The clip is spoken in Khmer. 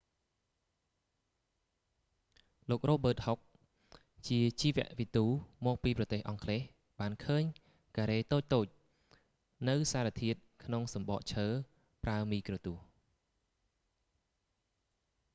លោក រ៉ូប៊ឺត ហុក robert hooke ជាជីវវិទូមកពីប្រទេសអង់គ្លេសបានឃើញការ៉េតូចៗនៅសារធាតុក្នុងសម្បកឈើប្រើមីក្រូទស្សន៍